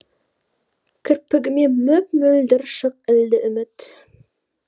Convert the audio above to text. кірпігіме мөп мөлдір шық ілді үміт